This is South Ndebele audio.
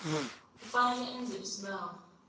kufanele enze isibawo